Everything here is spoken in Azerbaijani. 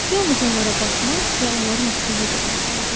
Yalnız onlara baxmaq və onların ətrini duymaq lazımdır.